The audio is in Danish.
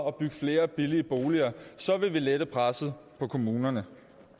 og byg flere billige boliger så vil vi lette presset på kommunerne